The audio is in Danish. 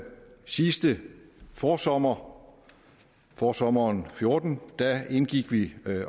sidste forsommer forsommeren to og fjorten indgik vi